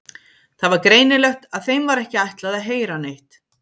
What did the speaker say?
Það var greinilegt að þeim var ekki ætlað að heyra neitt.